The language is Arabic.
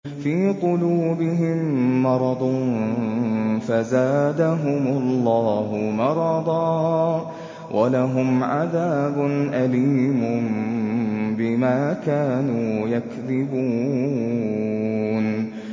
فِي قُلُوبِهِم مَّرَضٌ فَزَادَهُمُ اللَّهُ مَرَضًا ۖ وَلَهُمْ عَذَابٌ أَلِيمٌ بِمَا كَانُوا يَكْذِبُونَ